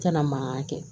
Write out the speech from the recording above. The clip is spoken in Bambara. Kana mangan kɛ